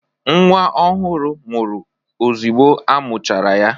Nwa ọhụrụ nwụrụ ozigbo a muchara ya